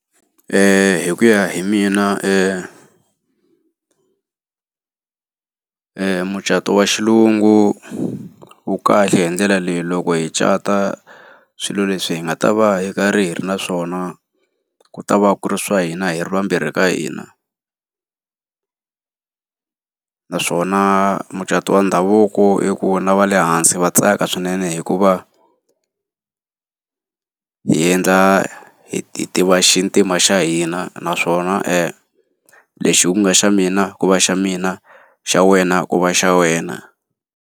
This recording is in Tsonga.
Hi ku ya hi mina mucato wa xilungu wu kahle hi ndlela leyi, loko hi cata swilo leswi hi nga ta va hi karhi hi ri na swona ku ta va ku ri swa hina hi ri vambirhi ka hina. Naswona mucato wa ndhavuko i ku na va le hansi va tsaka swinene hikuva, swi hi endla hi hi tiva xintima xa hina naswona lexi ku nga xa mina ku va xa mina, xa wena ku va xa wena.